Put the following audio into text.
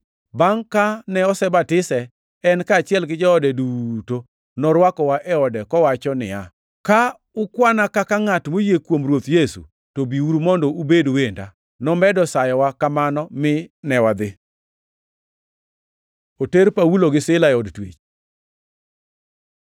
Bangʼ kane osebatise, en kaachiel gi joode duto, norwakowa e ode kowacho niya, “Ka ukwana kaka ngʼat moyie kuom Ruoth Yesu, to biuru mondo ubed wenda.” Nomedo sayowa kamano mine wadhi! Oter Paulo gi Sila e od twech